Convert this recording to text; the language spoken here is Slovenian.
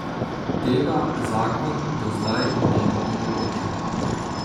Tega zakon do zdaj ni omogočal.